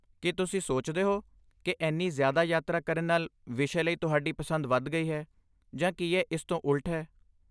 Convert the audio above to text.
ਕੀ ਤੁਸੀਂ ਸੋਚਦੇ ਹੋ ਕਿ ਇੰਨੀ ਜ਼ਿਆਦਾ ਯਾਤਰਾ ਕਰਨ ਨਾਲ ਵਿਸ਼ੇ ਲਈ ਤੁਹਾਡੀ ਪਸੰਦ ਵਧ ਗਈ ਹੈ ਜਾਂ ਕੀ ਇਹ ਇਸ ਤੋਂ ਉਲਟ ਹੈ?